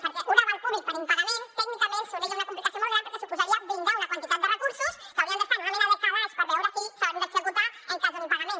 perquè un aval públic per impagament tècnicament seria una complicació molt gran perquè suposaria blindar una quantitat de recursos que haurien d’estar en una mena de calaix per veure si s’han d’executar en cas d’un impagament